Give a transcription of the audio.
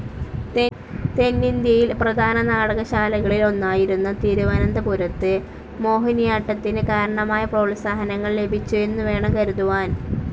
തെന്നിന്ത്യയിൽ പ്രധാന നാടകശാലകളിൽ ഒന്നായിരുന്ന തിരുവനന്തപുരത്ത് മോഹിനിയാട്ടത്തിന് കാരണമായ പ്രോത്സാഹനങ്ങൾ ലഭിച്ചു എന്നുവേണം കരുതുവാൻ.